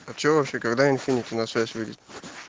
а что вообще когда инфинити на связь выйдет